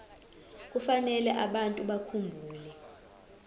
kufanele abantu bakhumbule